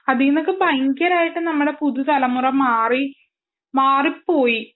അതിൽനിന്നൊക്കെ ഭയങ്കരമായിട്ട് നമ്മുടെ പുതിയ തലമുറ മാറി മാറിപ്പോയി